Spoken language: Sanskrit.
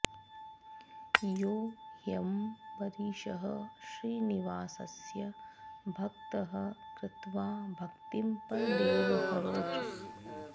यो ह्यंबरीषः श्रीनिवासस्य भक्तः कृत्वा भक्तिं परदेव हरौ च